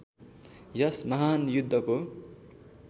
यस महान् युद्धको